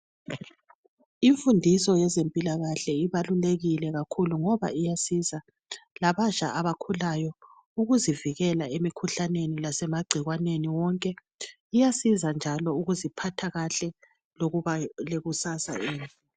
Imfundiso yezempilakahle ibalulekile kakhulu ngoba iyasiza labatsha abakhulayo ukuzivikela emikhuhlaneni lasemagcikwaneni wonke. Iyasiza loluziphathakahle kahle lokuba lekusasa